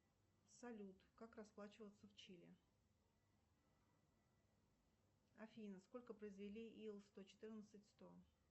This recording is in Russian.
салют как расплачиваться в чили афина сколько произвели ил сто четырнадцать сто